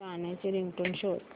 गाण्याची रिंगटोन शोध